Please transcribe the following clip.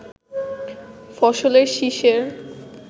ফসলের শিষের